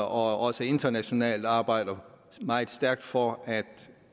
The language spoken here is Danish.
også internationalt arbejdet meget stærkt for at